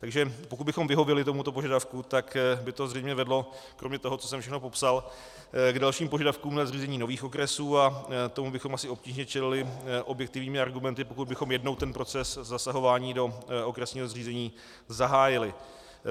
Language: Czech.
Takže pokud bychom vyhověli tomuto požadavku, tak by to zřejmě vedlo kromě toho, co jsem všechno popsal, k dalším požadavkům na zřízení nových okresů a tomu bychom asi obtížně čelili objektivními argumenty, pokud bychom jednou ten proces zasahování do okresního zřízení zahájili.